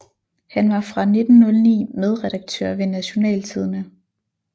Han var fra 1909 medredaktør ved Nationaltidende